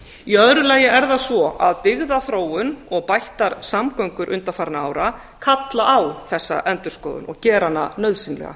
í öðru lagi er það svo að byggðaþróun og bættar samgöngur undanfarinna ára kalla á þessa endurskoðun og gera hana nauðsynlega